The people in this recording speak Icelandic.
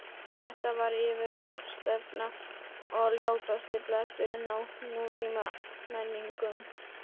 Þetta var yfirgangsstefna og ljótasti bletturinn á nútímamenningu.